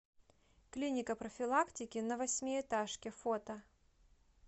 клиника профилактики на восьмиэтажке фото